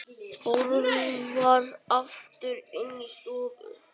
Hörfar aftur inn í stofu.